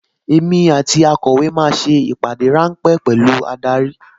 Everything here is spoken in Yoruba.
Èmi àti akọ̀wé máa ṣe ìpàdé ráńpẹ́ pẹ̀lú adarí